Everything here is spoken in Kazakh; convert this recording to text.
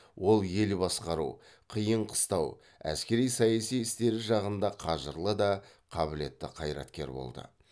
ол ел басқару қиын қыстау әскери саяси істері жағында қажырлы да қабілетті қайраткер болды